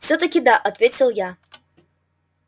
всё-таки да ответил я